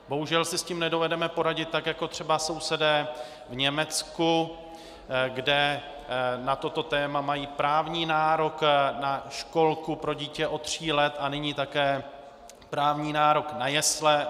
Bohužel si s tím nedovedeme poradit tak jako třeba sousedé v Německu, kde na toto téma mají právní nárok na školku pro dítě od tří let a nyní také právní nárok na jesle.